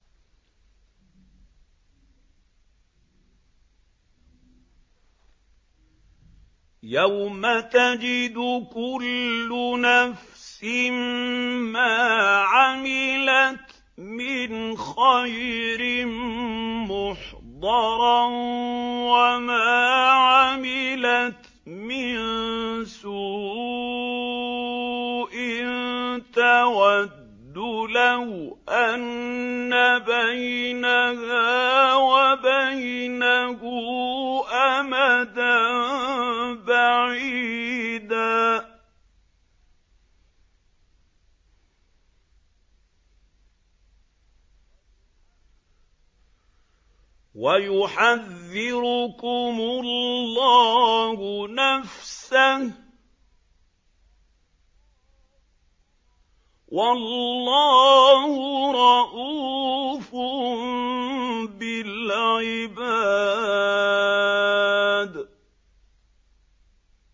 يَوْمَ تَجِدُ كُلُّ نَفْسٍ مَّا عَمِلَتْ مِنْ خَيْرٍ مُّحْضَرًا وَمَا عَمِلَتْ مِن سُوءٍ تَوَدُّ لَوْ أَنَّ بَيْنَهَا وَبَيْنَهُ أَمَدًا بَعِيدًا ۗ وَيُحَذِّرُكُمُ اللَّهُ نَفْسَهُ ۗ وَاللَّهُ رَءُوفٌ بِالْعِبَادِ